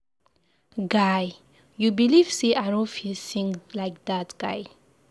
Guy, you believe say I no fit sing like dat guy.